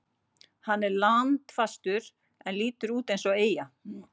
Hann er landfastur en lítur út eins og eyja.